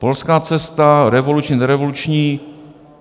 Polská cesta, revoluční, nerevoluční.